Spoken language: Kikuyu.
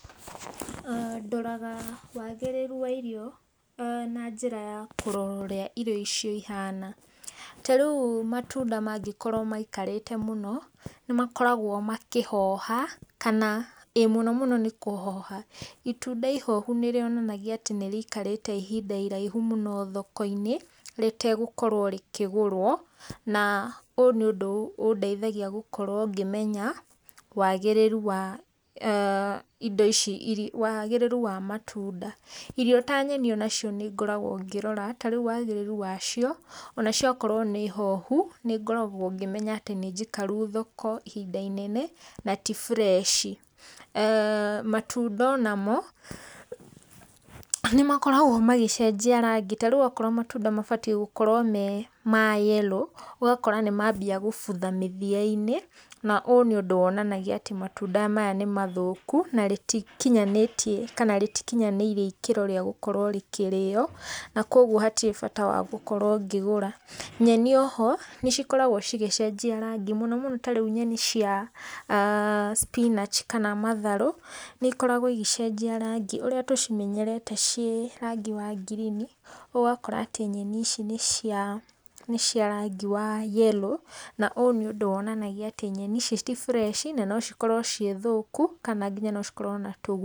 Ndoraga wagĩrĩru wa irio na njĩra ya kũrora ũrĩa irio icio ihana, ta rĩũ matunda mangĩkorwo maĩkarĩte mũno nĩmakoragwo makĩhoha, kana ĩĩ mũno mũno nĩ kũhoha, itunda ihohu nĩ rionanagia atĩ nĩrĩkarĩte ihinda iraihu mũno thoko-inĩ rĩtegũkorwo rĩkĩgũrwo, na ũyũ nĩ ũndũ ũndeithagia gũkorwo ngĩmenya wagĩrĩru wa indo ici, wagĩrĩru wa matũnda, irio ta nyeni nacio nĩngoragwo ngĩrora, ta rĩũ wagĩrĩru wacio onacio okorwo nĩ hohu nĩngoragwo ngĩmenya atĩ nĩ njikaru thoko ihinda inene na ti fresh. Matunda onamo nĩmakoragwo magĩcenjia rangi, ta rĩu okorwo matunda mabatiĩ gũkorwo me ma yellow, ũgakora nĩmambia gũbutha mĩthia-inĩ, na ũyũ nĩ ũndũ wonanagia atĩ matunda maya nĩ mathũku na rĩtikinyanĩtie kana rĩtikinyanĩirie ikĩro cia gũkorwo rĩkirĩo na kwa ũgũo hatĩrĩ bata wa gũkorwo ngĩgũra. Nyeni o ho nĩcikoragwo cigecenjia rangi mũno mũno tarĩu nyeni cia spinach kana matharũ nĩikoragwo igĩcenjia rangi ũrĩa tũcĩmenyerete cĩĩ rangi wa ngirini ũgakora atĩ nyeni ici ni cia rangi wa yellow na ũyũ nĩ ũndũ wonanagia atĩ nyeni ici ti fresh na no cikorwo cĩĩ thũkũ kana nocikorwo na tũgunyũ.